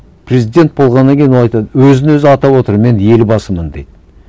президент болғаннан кейін ол айтады өзін өзі атап отыр мен елбасымын дейді